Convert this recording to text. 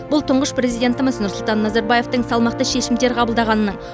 бұл тұңғыш президентіміз нұрсұлтан назарбаевтың салмақты шешімдер қабылдағанының